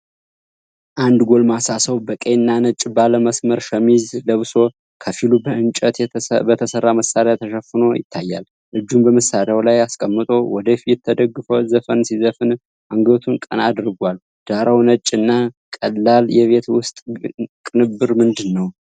አንድ ጎልማሳ ሰው በቀይና ነጭ ባለመስመር ሸሚዝ ለብሶ፣ ከፊሉ በእንጨት በተሰራ መሳሪያ ተሸፍኖ ይታያል። እጁን በመሳሪያው ላይ አስቀምጦ፣ ወደ ፊት ተደግፎ ዘፈን ሲዘፍን አንገቱን ቀና አድርጓል። ዳራው ነጭ እና ቀላል የቤት ውስጥ ቅንብር ምንድነው?